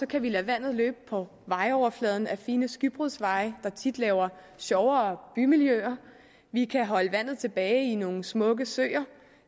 kan vi lade vandet løbe på overfladen af fine skybrudsveje der tit giver sjovere bymiljøer vi kan holde vandet tilbage i nogle smukke søer